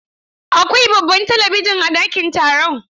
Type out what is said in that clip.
Akwai babban talabijin a dakin taron.